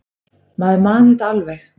Maður man þetta alveg.